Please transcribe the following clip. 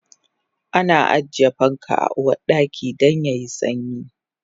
Ana ajiye fanka a Uwardaka dan yayi sanyi